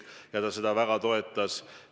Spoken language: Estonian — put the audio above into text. Ta seda väga toetas.